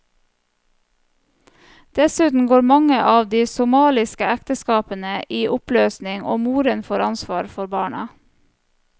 Dessuten går mange av de somaliske ekteskapene i oppløsning og moren får ansvar for barna.